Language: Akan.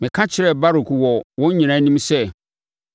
“Meka kyerɛɛ Baruk wɔ wɔn nyinaa anim sɛ,